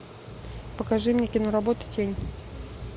покажи мне киноработу тень